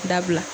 Dabila